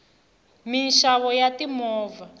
minxavo ya timovha